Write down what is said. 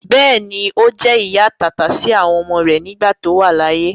Bẹ́ẹ̀ni, Ó jẹ́ ìyá àtàtà sí àwọn ọmọ rẹ nígbà tí ó wà láyé.